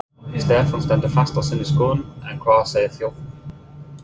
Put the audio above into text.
Stefán stendur fast á sinni skoðun en hvað segir þjóðin?